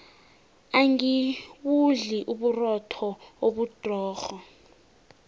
angibudli uburotho obudrorho